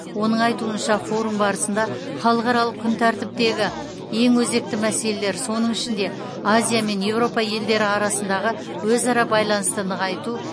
оның айтуынша форум барысында халықаралық күн тәртіптегі ең өзекті мәселелер соның ішінде азия мен еуропа елдері арасындағы өзара байланысты нығайту